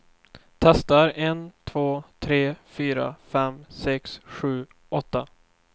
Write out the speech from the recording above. Testar en två tre fyra fem sex sju åtta.